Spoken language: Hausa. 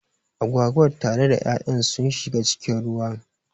Agwagar tare da ya'yan sun shiga cikin ruwan